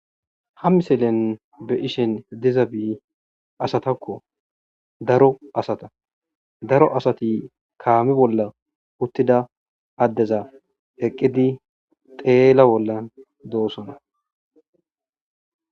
Ha missilen be'ishin dizabi asatakko daro asata daro asati kame bolla uttida adeza eqidi xello bolla dossona